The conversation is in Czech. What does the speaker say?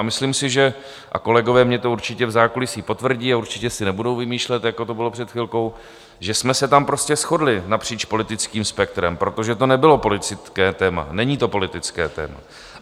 A myslím si, že - a kolegové mi to určitě v zákulisí potvrdí a určitě si nebudou vymýšlet, jako to bylo před chvilkou - že jsme se tam prostě shodli napříč politickým spektrem, protože to nebylo politické téma, není to politické téma.